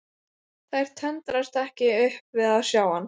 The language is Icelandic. Þær tendrast ekki upp við að sjá hann.